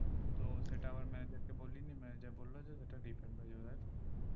তো সেটা আবার manager কে বললি manager বললো সেটা refund হয়ে যাবে তাইতো